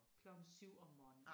Klokken 7 om morgenen